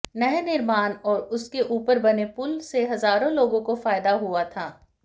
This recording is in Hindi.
नहर निर्माण और उसके ऊपर बने पुल से हजारों लोगों को फायदा हुआ था